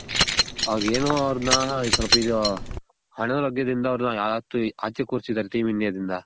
ಅವ್ರ್ ಏನೋ ಅವರ್ನ ಸ್ವಲ್ಪ ಇದು ಅನಾರೋಗ್ಯದಿಂದ ಆಚೆ ಕೂರ್ಸಿದಾರೆ team india ದಿಂದ